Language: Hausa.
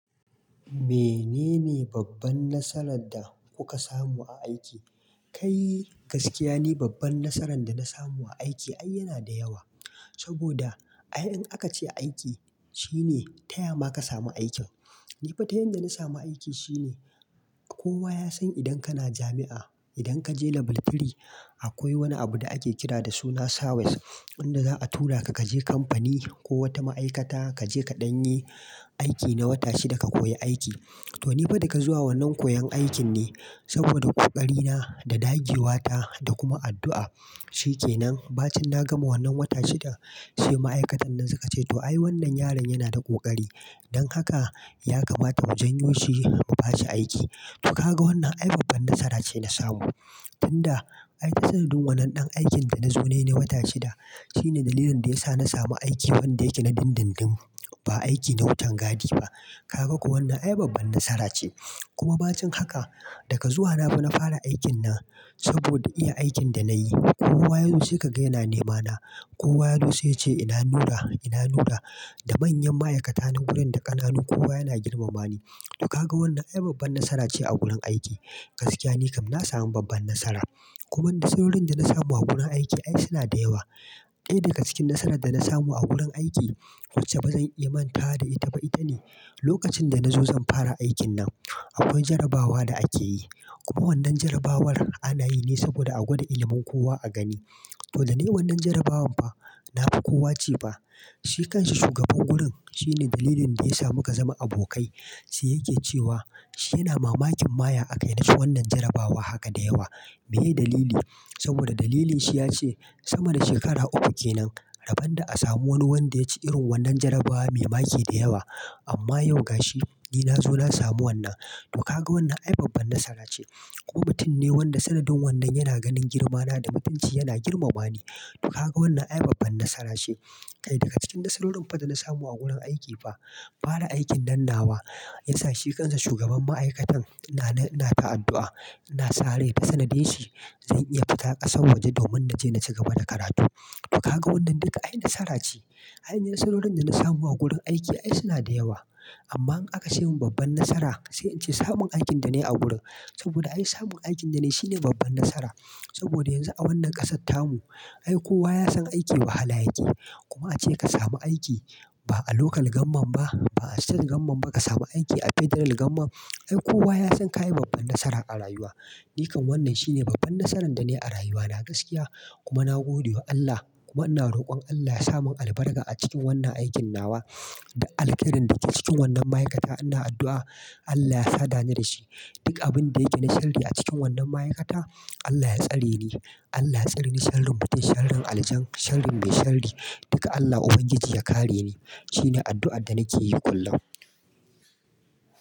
Menene babban nasarar da kuka samu a aiki? Kai gaskiya ne babban nasaran da na samu a aiki ai yana da yawa. Saboda ai in aka ce aiki shine taya ma ka samu aikin. Ni fa ta yanda na samu aiki shine kowa ya san idan kana jami'a, idan ka je level three akwai wani abu da ake kira da suna Sawes inda za a tura ka ka je kamfani ko wata ma'aikata ka je ka ɗan yi aiki na wata shida ka koyi aiki. To ni fa daga zuwa wannan koyon aikin ne saboda ƙoƙari na da ɗage wa ta da kuma addu'a shike nan baacin na gama wannan wata shida sai ma'aikatan nan suka ce to ai wannan yaron yana da ƙoƙari don haka ya kamata mu jan yoshi mu bashi aiki. To ka ga wannan ai babban nasara ce na samu. Tun da ai tasirin wannan ɗan aikin da na zo na yi na wata shida shine dalilin da ya sa na samu aiki wanda yake na dindindin ba aiki na wutan gadi ba. Ka ga ko wannan ai babban nasara ce. Kuma baacin haka daga zuwa na ba na fara aikin nan saboda iya aikin da na yi kowa yau sai ka ga yana nemana. Kowa yazo sai ya ce ina nura ina nura da manyan ma'aikata na wurin da ƙananu kowa yana girmama ni. To ka ga wannan ai babban nasara ce a gurin aiki. Gaskiya ne kam na samu babban nasara. Kuma duk sorin da na samu a gurin aiki ai suna da yawa. Ɗaya daga cikin nasarar da na samu a gurin aiki wacce ba zan iya manta da ita ba ita ne lokacin da nazo zan fara aikin nan akwai jarabawa da ake yi. Kuma wannan jarabawar anayi ne saboda a gwada ilimin kowa a gani. To da ne wannan jarabawar ba na fi kowa ce ba. Shikansa shugaban wurin shine dalilin da ya sa muka zama abokai sai yake cewa shi yana mamakin maye aka yarda shi wannan jarabawa haka da yawa. Me dalili? Saboda dalilin shi ya ce sama da shekara uku kenan rabon da a samu wani wanda ya ci irin wannan jarabawa mai make da yawa amma yau ga shi ni nazo na samu wannan. To ka ga wannan ai babban nasara ce. Ko mutun ne wanda sanadin wannan yana ganin girmana da mutunci yana girmama ni. To ka ga wannan ai babban nasara ce. Kai daga cikin nasarorin fa da na samu a gurin aiki fa fara aikin nan nawa ya sa shikansa shugaban ma'aikatan ina ta addu'a ina sare da tsanade shi zan iya fita ƙasa waje domin naje na ci gaba da karatu. To ka ga wannan duka ai nasara ce. Ainihin nasarorin da na samu a gurin aiki ai suna da yawa amma in aka ce min babban nasara sai in ce samun aikin da ne a wurin saboda ai samun aikin da ne shine babban nasara. Saboda yanzu a wannan ƙasattamu ai kowa ya san aiki wahala yake kuma ace ka samu aiki ba a lokal gamman ba ba a state gamman ba ka samu aiki a federal gamman ai kowa ya san ka yi babban nasara a rayuwa. Ni kam wannan shine babban nasaran da ne a rayuwa na gaskiya kuma na gode wa Allah kuma ina rokon Allah ya samo albarka a cikin wannan aikin nawa da alkirin da ke cikin wannan ma'aikata ina addu'a Allah ya sadani da shi. Duk abin da yake na sharri a cikin wannan ma'aikata Allah ya tsare ni. Allah ya tsare ni sharrin mutum, sharrin aljan, sharrin mai sharri duka Allah Ubangiji ya kare ni shine addu'ar da nake yi kullum.